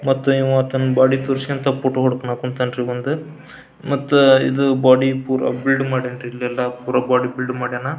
ಮತ್ತ ಇವ ತನ್ನ ಬಾಡಿ ತೋರ್ಸಿ ಅಂತ ಫೋಟೋ ಹೊಡ್ಕೋನಾಕ್ ಹೊಂಟಾನ್ ಇವಂದ್ ಮತ್ತ ಇದ ಬಾಡಿ ಪೂರಾ ಬಿಲ್ಡ್ ಮಾಡ್ಯಾನ ಇಲ್ಲೆಲ್ಲಾ ಬಾಡಿ ಪೂರಾ ಬಿಲ್ಡ್ ಮಾಡ್ಯಾನ.